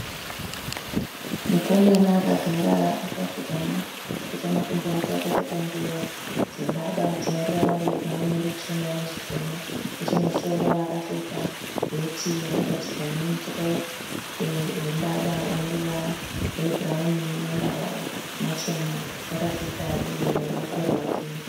Mukomana akagara akapfugama akapeta makumbo ake akapfeka nguwo dzembada dzIneruvara rwebhurauni noruchena nezvitema. Nechemumusoro akapfeka heti yakagadzigwa nemucheka wembada uneruvara rwebhurauni nemambava machena. Wakapfeka rin'i muruoko rwake.